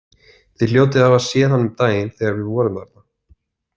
Þið hljótið að hafa séð hann um daginn þegar þið voruð þarna.